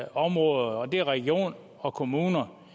områder og det er regioner og kommuner